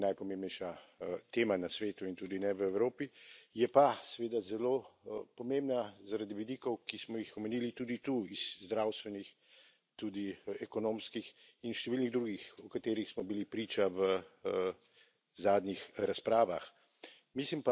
Jasno je, da to ni najpomembnejša tema na svetu in tudi ne v Evropi, je pa seveda zelo pomembna zaradi vidikov, ki smo jih omenili tudi tu, iz zdravstvenih, tudi ekonomskih in številnih drugih, o katerih smo bili priča v zadnjih razpravah.